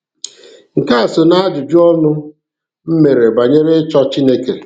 Nke a so najụjụ ọnụ m mere banyere ịchọ Chineke.